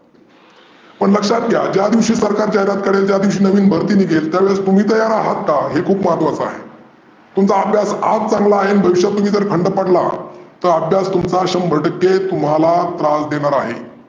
पण लक्षात घ्या ज्या दिवशी सरकार जाहिरात करेन त्या दिवशी नवीन भर्ती निघेल त्यावेळी तुम्ही तयार आहात का? हे खुप महत्वाचं आहे. तुमचा अभ्यास आज चांगला आहे अन भविष्यात तुम्ही जर थंड पडलात, तर अभ्यास तुमचा शंभर टक्के तुम्हाला त्रास देनार आहे.